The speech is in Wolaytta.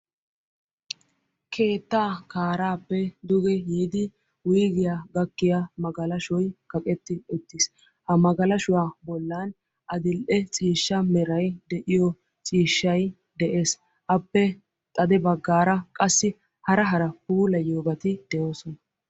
Keetta karappe duge yiidi duge gakkiya magalashshoy kaqqeti uttiis; ha magalashshuwa bollan adl''e ciishsha meray de'iyo ciishshay de'es; appe xade baggara qassi hara hara puulayiyyobati de'oosona.